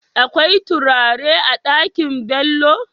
Akwai turare a Ɗakin Bello?